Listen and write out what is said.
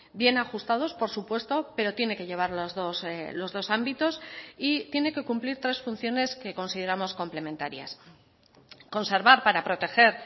bien ajustados por supuesto pero tiene que llevar los dos ámbitos y tiene que cumplir tres funciones que consideramos complementarias conservar para proteger